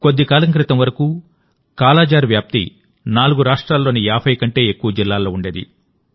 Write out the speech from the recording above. కొద్దికాలం క్రితం వరకుకాలాజార్ వ్యాప్తి 4 రాష్ట్రాల్లోని 50 కంటే ఎక్కువ జిల్లాల్లో ఉండేది